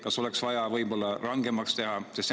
Kas oleks vaja midagi rangemaks teha?